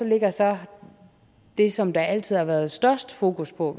ligger så det som der altid har været størst fokus på